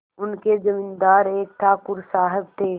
उनके जमींदार एक ठाकुर साहब थे